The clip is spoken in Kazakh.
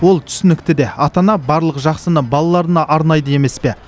ол түсінікті де ата ана барлық жақсыны балаларына арнайды емес пе